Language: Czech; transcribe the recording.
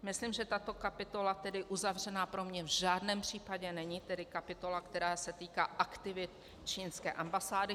Myslím, že tato kapitola tedy uzavřená pro mě v žádném případě není, tedy kapitola, která se týká aktivit čínské ambasády.